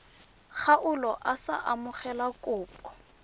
kgaolo a sa amogele kopo